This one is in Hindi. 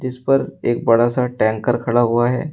इस पर एक बड़ा सा टैंकर खड़ा हुआ है।